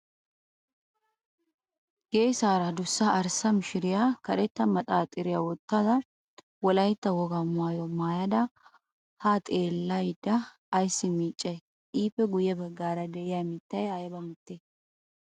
Geesaara adussa arssa mishiriya karetta maxaaxxiriyaa wottada wolaytta wogaa maayyuwaa maayyada ha xeellada ayssi miiccayi? Ippe guyye baggaara de'iyaa mittay ayba mittee?